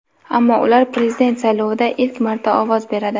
ammo ular prezident saylovida ilk marta ovoz beradi.